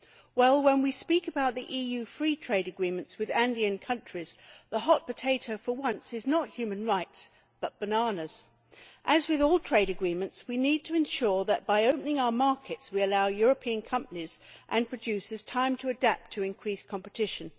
Well, when we are talking about the EU free trade agreements with Andean countries, the hot potato, for once, is not human rights but bananas. As with all trade agreements, we need to ensure that by opening our markets we allow European companies and producers time to adapt to increased competition.